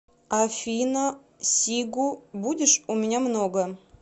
афина сигу будешь у меня много